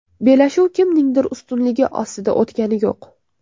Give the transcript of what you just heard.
Bellashuv kimningdir ustunligi ostida o‘tgani yo‘q.